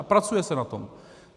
A pracuje se na tom.